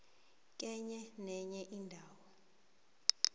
kenye nenye indawo